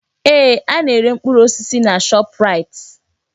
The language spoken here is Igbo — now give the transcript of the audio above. Ee! Ana-ere mkpụrụ osisi na Shọpraịt.